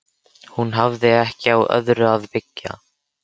Hún hafði ekki á öðru að byggja.